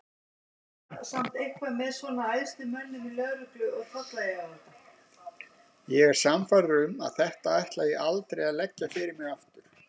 Ég er sannfærður um að þetta ætla ég aldrei að leggja fyrir mig aftur.